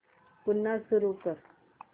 पुन्हा सुरू कर